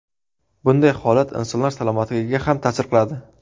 Bunday holat insonlar salomatligiga ham ta’sir qiladi.